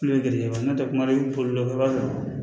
Kulonkɛ n'a bolila i b'a sɔrɔ